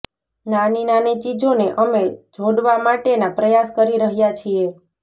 નાની નાની ચીજોને અમે જોડવા માટેના પ્રયાસ કરી રહ્યા છીએ